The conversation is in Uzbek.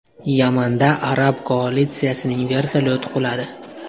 Yamanda arab koalitsiyasining vertolyoti quladi.